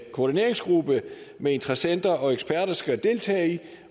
koordineringsgruppe som interessenter og eksperter skal deltage i